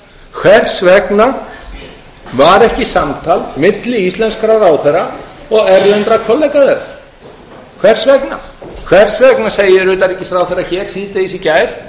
hvers vegna var ekki samtal milli íslenskra ráðherra og erlendra kollega þeirra hvers vegna ekki hvers vegna segir utanríkisráðherra hér í gær